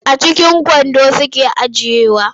A cikin kwando suke ajiyewa.